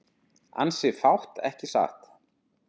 Ansi fátt ekki satt?